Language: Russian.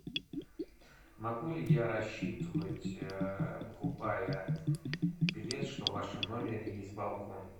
могу ли я рассчитывать покупая билет что в вашем номере есть балкон